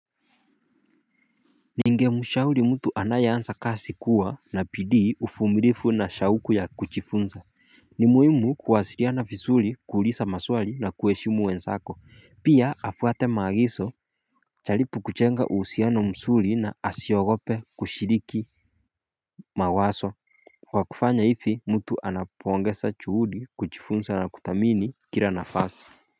Ningemshauri mtu anayeansa kasi kuwa na bidii ufumirifu na shauku ya kuchifunsa ni muhimu kuwasiriana visuli kuulisa maswali na kuweshimu wensako Pia afwate maagiso acharipu kuchenga uhusiano msuli na asiogope kushiriki mawaso Kwa kufanya hifi mtu anapoongesa chuhudi kuchifunsa na kuthamini kile nafasi.